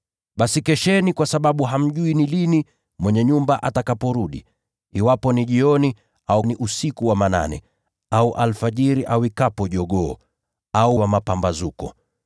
“Basi kesheni kwa sababu hamjui ni lini mwenye nyumba atakaporudi: iwapo ni jioni, au ni usiku wa manane, au alfajiri awikapo jogoo, au mapambazuko.